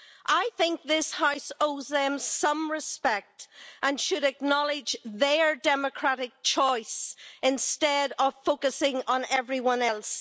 I think this House owes them some respect and should acknowledge their democratic choice, instead of focusing on everyone else.